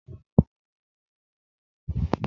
Témi yóò mu omi mọ̀ríǹgà náà.